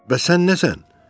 Bəs sən nəsən?